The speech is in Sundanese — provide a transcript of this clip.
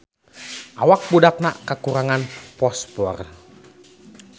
Awak budakna kakurangan fosfor